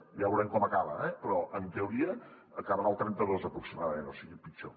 ja veurem com acaba eh però en teoria acabarà al trenta dos aproximadament o sigui pitjor